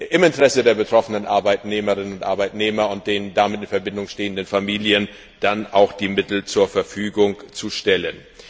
im Interesse der betroffenen Arbeitnehmerinnen und Arbeitnehmer und deren damit in Verbindung stehenden Familien die Mittel dann auch möglichst rasch zur Verfügung zu stellen.